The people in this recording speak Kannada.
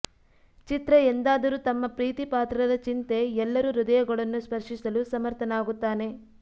ಚಿತ್ರ ಎಂದಾದರೂ ತಮ್ಮ ಪ್ರೀತಿಪಾತ್ರರ ಚಿಂತೆ ಎಲ್ಲರೂ ಹೃದಯಗಳನ್ನು ಸ್ಪರ್ಶಿಸಲು ಸಮರ್ಥನಾಗುತ್ತಾನೆ